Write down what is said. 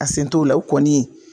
A sen t'o la o kɔni